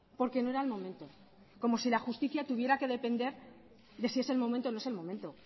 porque no era el momento como si la justicia tuviera que depender de si es el momento o no es el momento